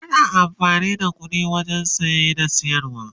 ana amfani da ƙuɗi wajen saye da siyarwa